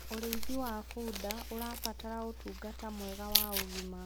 ũrĩithi wa bunda ũrabatara ũtũngata mwega wa ũgima